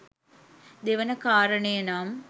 දෙවන කාරණය නම්